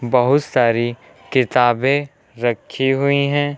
बहुत सारी किताबें रखी हुई हैं।